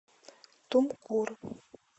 тумкур